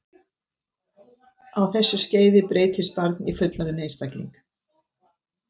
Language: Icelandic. Á þessu skeiði breytist barn í fullorðinn einstakling.